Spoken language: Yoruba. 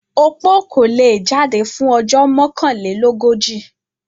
Opó kò le è jáde fún ojó Mọ́kànlélógójì.